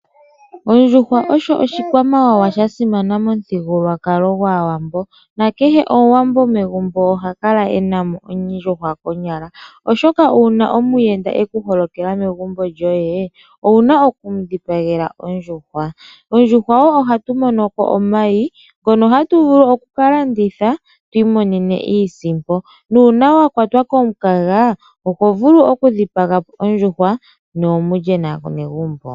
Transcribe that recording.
Ondjuhwa osho oshikwamawawa sha simana momuthigululwakalo gwaawambo, nakehe omuwambo megumbo oha kala enamo ondjuhwa konyala, oshoka uuna omuyenda eku holokela megumbo lyoye owuna okumu dhipagela ondjuhwa. Kondjuhwa woo ohatu monoko omayi ngono hatu vulu okuka landitha twiimonene iisimpo, nuuna wa kwatwa komukaga oho vulu oku dhipaga po ondjuhwa ne mulye naanegumbo.